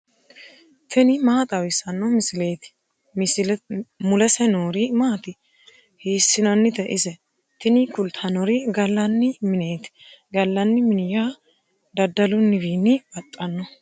tini maa xawissanno misileeti ? mulese noori maati ? hiissinannite ise ? tini kultannori gallanni mineeti. gallanni mini yaa daddalunnihuwiinni baxxanno.